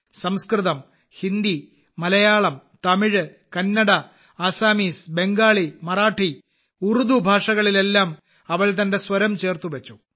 സംസ്കൃതം ഹിന്ദി മലയാളം തമിഴ് കന്നട ആസാമീസ് ബംഗാളി മറാഠി ഉറുദു ഭാഷകളിലെല്ലാം അവൾ തന്റെ സ്വരം ചേർത്തുവച്ചു